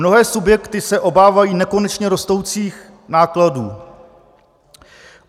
Mnohé subjekty se obávají nekonečně rostoucích nákladů.